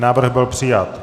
Návrh byl přijat.